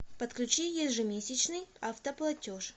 подключи ежемесячный автоплатеж